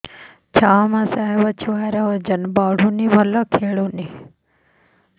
ଛଅ ମାସ ହବ ଛୁଆର ଓଜନ ବଢୁନି ଭଲ ଖେଳୁନି